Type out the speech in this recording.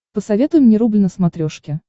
посоветуй мне рубль на смотрешке